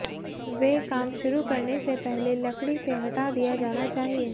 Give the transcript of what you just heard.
वे काम शुरू करने से पहले लकड़ी से हटा दिया जाना चाहिए